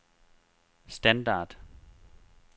standard